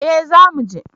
Eh za muje